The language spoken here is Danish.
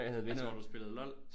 Altså hvor du spillede LOL